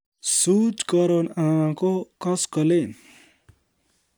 Suut Karon anan ko koskolen